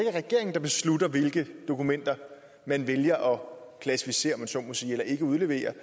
er regeringen der beslutter hvilke dokumenter man vælger at klassificere om man så må sige eller ikke udlevere